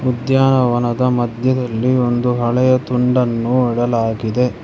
ಉದ್ಯಾನವನದ ಮದ್ಯದಲ್ಲಿ ಒಂದು ಹಳೆಯ ತುಂಡನ್ನು ಇಡಲಾಗಿದೆ.